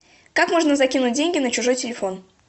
как можно закинуть деньги на чужой телефон